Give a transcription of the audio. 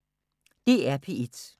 DR P1